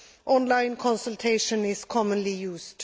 Online consultation is commonly used.